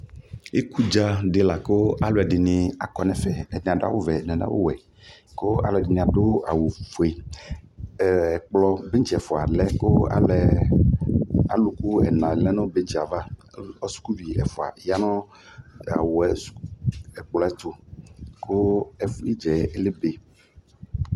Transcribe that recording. Ikudza dɩ lakʋ alʋ ɛdɩnɩ akɔ nʋ ɛfɛ Ɛdɩnɩ adʋ awʋvɛ, ɛdɩnɩ adʋ awʋwɛ, kʋ ɛdɩnɩ adʋ awʋfue Ɛkplɔŋtsɩ ɛfʋa lɛ kʋ aluku ɛna lɛ nʋ bɛŋtsɩ yɛ ava Kʋ sukuvi ɛfʋa ya nʋ ɛkplɔ yɛ ɛtʋ, kʋ ɩdza yɛ lebe